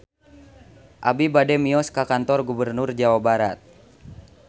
Abi bade mios ka Kantor Gubernur Jawa Barat